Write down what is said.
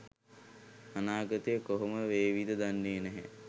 අනාගතය කොහොම වේවිද දන්නේ නැහැ